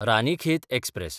Ranikhet express